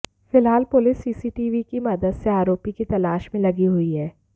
फिलहाल police CCTV की मदद से आरोपी की तलाश में लगी हुई है